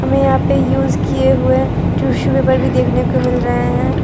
हमें यहां पे यूज किए हुए टिशू पेपर भी देखने को मिल रहे हैं।